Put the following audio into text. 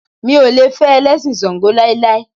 Mi ò lè fẹ́ Ẹlẹ́sìn ṣàǹgó láíláí.